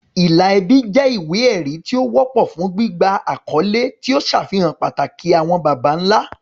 Ìlà ẹbí jẹ́ ìwé-ẹ̀rí tí ó wọ́pọ̀ fún gbígba àkọ́lé, tí ó ń ṣàfihàn pàtàkì àwọn baba ńlá.